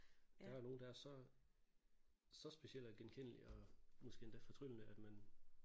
Der er nogle der er så så specielle og genkendelige og måske endda fortryllende at man